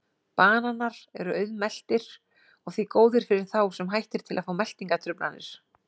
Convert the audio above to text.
Bananar eru auðmeltir og því góðir fyrir þá sem hættir til að fá meltingartruflanir.